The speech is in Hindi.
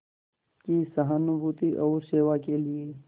की सहानुभूति और सेवा के लिए